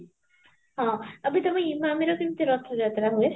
ହଁ ଏବେ ତମେ ଇମାମିରେ କେମିତି ରଥ ଯାତ୍ରା ହୁଏ?